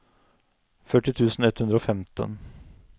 førti tusen ett hundre og femten